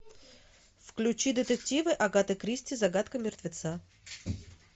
включи детективы агаты кристи загадка мертвеца